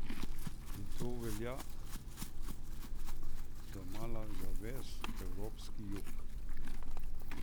In to velja domala za ves evropski jug!